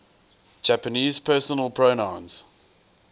japanese personal pronouns